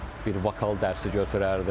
Bir vokal dərsi götürərdim.